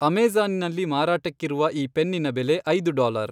ಅಮೆಜಾ಼ನಿನಲ್ಲಿ ಮಾರಾಟಕ್ಕಿರುವ ಈ ಪೆನ್ನಿನ ಬೆಲೆ ಐದು ಡಾಲರ್.